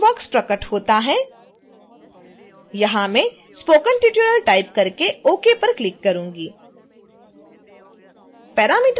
एक text box प्रकट होता है यहाँ मैं spoken tutorial टाइप करके ok पर क्लिक करूँगी